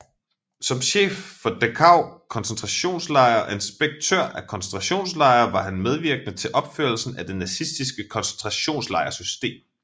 Som chef for Dachau koncentrationslejr og inspektør af koncentrationslejre var han medvirkende til opførelsen af det nazistiske koncentrationslejrsystem